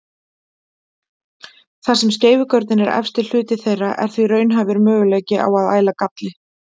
Þar sem skeifugörnin er efsti hluti þeirra er því raunhæfur möguleiki á að æla galli.